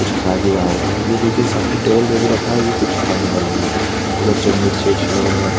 कुछ खा ही रहा होगा ये देखिए सामने टेबल पे भी रखा है कुछ खाने वाला ही है उधर कुछ मिर्ची विरचि लग रहा है ।